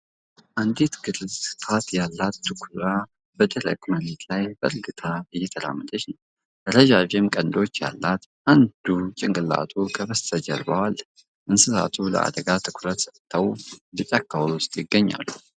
አንዲት ግርፋት ያላት ድኩላ በደረቅ መሬት ላይ በእርጋታ እየተራመደች ነው። ረዣዥም ቀንዶች ያላት አንዱ ጭንቅላቱ ከበስተጀርባው አለ። እንስሳቱ ለአደጋ ትኩረት ሰጥተው በጫካው ውስጥ ይገኛሉ።